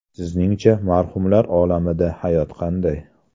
Sizningcha marhumlar olamida hayot qanday?